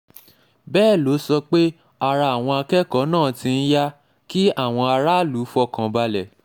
bẹ́ẹ̀ ló sọ pé ara àwọn akẹ́kọ̀ọ́ náà ti ń yá kí àwọn aráàlú fọkàn balẹ̀